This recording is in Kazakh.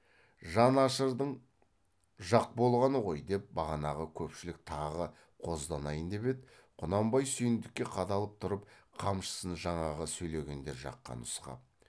жан ашырдың жақ болғаны ғой деп бағанағы көпшілік тағы қозданайын деп еді құнанбай сүйіндікке қадалып тұрып қамшысын жаңағы сөйлегендер жаққа нұсқап